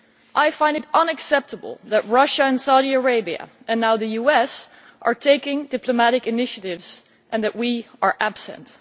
I find it unacceptable that Russia and Saudi Arabia and now the US are taking diplomatic initiatives and that we are absent.